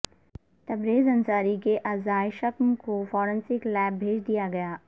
تبریز انصاری کے اعضائے شکم کو فارنسک لیاب بھیج دیا گیا